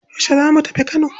Yaushe za mu tafi Kano?